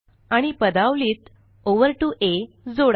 आणि पदावलीत ओव्हर 2आ जोडा